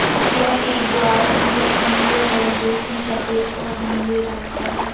यह एक द्वार की तस्वीर हैं जो की सफेद और नीले रंग का हैं।